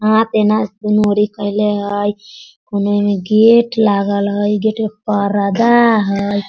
कइले हई कोनो में गेट लागल हई गेट में पर्दा लागल हई।